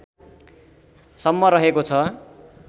सम्म रहेको छ